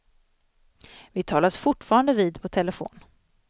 Vi talas fortfarande vid på telefon.